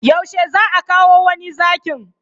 Yaushe zaa kawo wani Zakin?